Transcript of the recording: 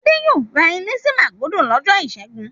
Adé yóò ra ilé sí Màgódò lọ́jọ́ ìṣẹ́gun.